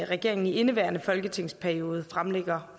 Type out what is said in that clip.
regeringen i indeværende folketingsperiode fremsætter